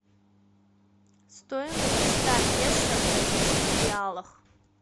стоимость ста песо в бразильских реалах